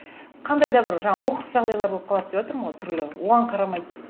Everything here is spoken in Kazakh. қандай да бір жаңа оқыс жағдайлар болып қалады деватырмын ғой түрлі оған қарамайды